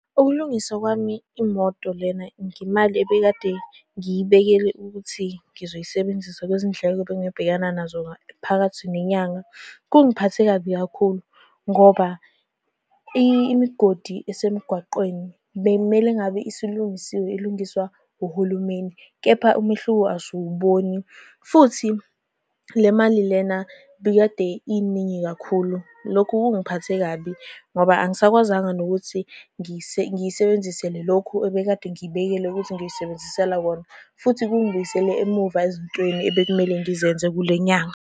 Ukulungisa kwami imoto lena ngemali ebekade ngiyibekele ukuthi ngizoyisebenzisa kwizindleko abengingabhekana nazo phakathi nenyanga kungiphathe kabi kakhulu, ngoba imigodi esemgwaqeni bekumele ngabe isilungisiwe, ilungiswa uhulumeni, kepha umehluko asiwubani. Futhi le mali lena ibikade iningi kakhulu. Lokhu kungiphathe kabi, futhi ngoba angisakwazanga nokuthi ngiyisebenzisele lokho ebekade ngiyibekele ukuthi ngiyisebenzisela kona. Futhi kungibuyisele emuva ezintweni ebekumele ngizenze kule nyanga.